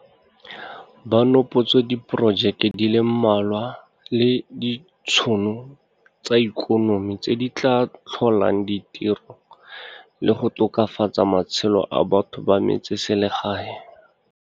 Ba nopotse diporojeke di le mmalwa le ditšhono tsa ikonomi tse di tla tlholang di tiro le go tokafatsa matshelo a batho ba metseselegae.